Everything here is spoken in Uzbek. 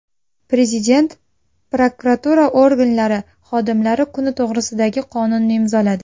Prezident prokuratura organlari xodimlari kuni to‘g‘risidagi qonunni imzoladi.